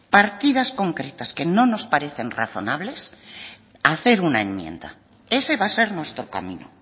partidas concretas que no nos parecen razonables hacer una enmienda ese va a ser nuestro camino